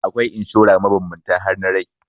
Akwai inshora mabambanta har na rai.